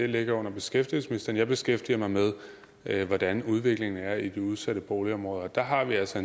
ligger under beskæftigelsesministeren jeg beskæftiger mig med hvordan udviklingen er i de udsatte boligområder og der har vi altså